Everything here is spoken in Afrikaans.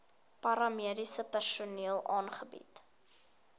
paramediese personeel aangebied